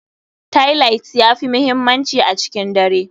Tailight ya fi muhimmanci a cikin dare.